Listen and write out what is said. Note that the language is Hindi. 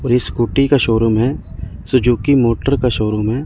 और ये स्कूटी का शोरूम है। सुजुकी मोटर का शोरूम हैं।